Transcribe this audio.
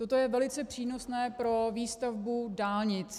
Toto je velice přínosné pro výstavbu dálnic.